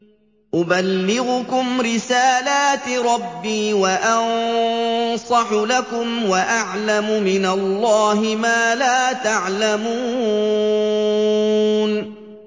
أُبَلِّغُكُمْ رِسَالَاتِ رَبِّي وَأَنصَحُ لَكُمْ وَأَعْلَمُ مِنَ اللَّهِ مَا لَا تَعْلَمُونَ